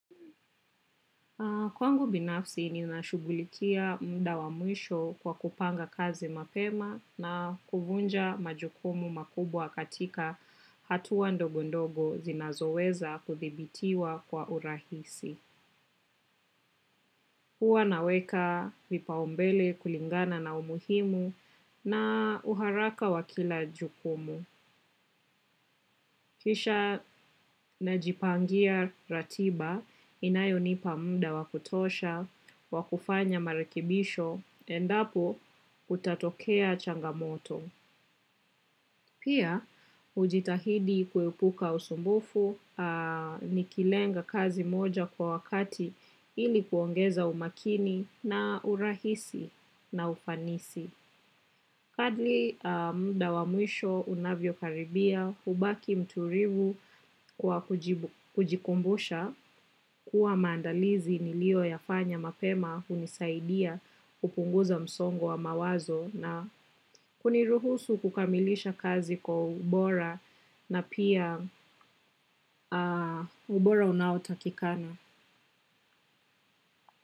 Kwangu binafsi ninashughulikia muda wa mwisho kwa kupanga kazi mapema na kuvunja majukumu makubwa katika hatua ndogo ndogo zinazoweza kuthibitiwa kwa urahisi. Huwa naweka vipaumbele kulingana na umuhimu na uharaka wa kila jukumu. Kisha najipangia ratiba, inayonipa muda wa kutosha, wa kufanya marekebisho, endapo kutatokea changamoto. Pia, hujitahidi kuepuka usumbufu, nikilenga kazi moja kwa wakati ili kuongeza umakini na urahisi na ufanisi. Partly muda wa mwisho unavyokaribia, hubaki mtulivu kwa kujikumbusha, kuwa maandalizi niliyoyafanya mapema hunisaidia kupunguza msongo mawazo na huniruhusu kukamilisha kazi kwa ubora na pia ubora unaotakikana.